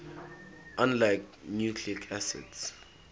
unlike nucleic acids